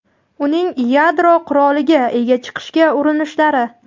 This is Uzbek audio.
uning yadro quroliga ega chiqishga urinishlari.